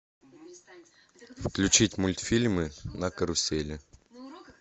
включить мультфильмы на карусели